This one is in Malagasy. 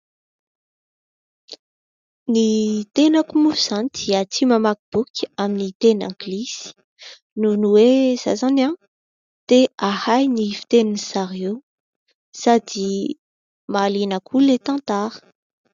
Ny tenako moa zany dia tia mamaky boky amin'ny tena anglisy, noho ny hoe, za zany tia ahay ny fitenin'i zareo sady mahaliana koa ilay tantara.